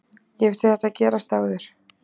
Ég hef séð þetta gerast áður.